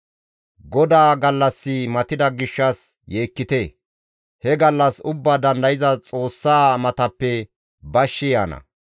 GODAA gallassi matida gishshas yeekkite! He gallas Ubbaa Dandayza Xoossaa matappe bashshi yaana.